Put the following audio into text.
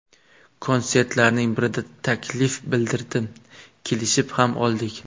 Konsertlarning birida taklif bildirdim, kelishib ham oldik.